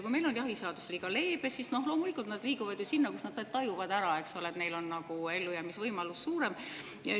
Kui meil on jahiseadus liiga leebe, siis loomulikult nad liiguvad siia, sest nad tajuvad ära, kus neil on ellujäämisvõimalus suurem.